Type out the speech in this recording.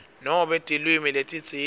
nobe tilwimi letitsite